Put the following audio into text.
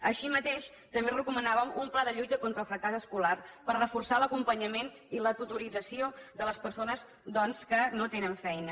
així mateix també recomanàvem un pla de lluita contra el fracàs escolar per reforçar l’acompanyament i la tutorització de les persones doncs que no tenen feina